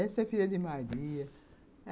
Essa é a filha de Maria.